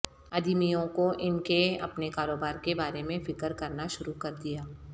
ادیمیوں کو ان کے اپنے کاروبار کے بارے میں فکر کرنا شروع کر دیا